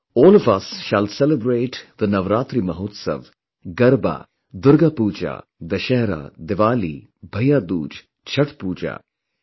All of us shall celebrate the Navaratri Mahotsava, Garba, Durga Puja, Dussehra, Diwali, Bhaiya Dooj, Chhath Puja...